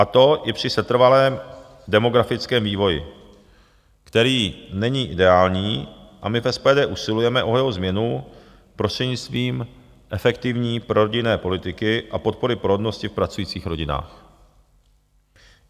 A to i při setrvalém demografickém vývoji, který není ideální, a my v SPD usilujeme o jeho změnu prostřednictvím efektivní prorodinné politiky a podpory porodnosti v pracujících rodinách.